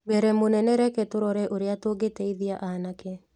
Mbere mũnene reke tũrore ũrĩa tũngĩteithia aanake